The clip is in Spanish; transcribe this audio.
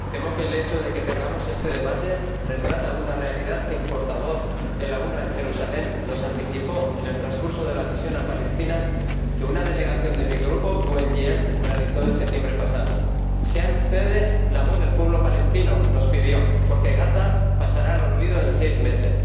Señor Presidente, temo que el hecho de que tengamos este debate retrata una realidad que el portavoz de la UNRWA en Jerusalén nos anticipó en el transcurso de la misión a Palestina que una delegación de mi Grupo GUE NGL realizó en septiembre pasado Sean ustedes la voz del pueblo palestino —nos pidió—, porque Gaza pasará al olvido en seis meses.